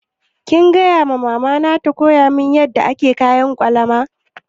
Kin gaya wa mama ta koya miki yadda ake kayan ƙwalama?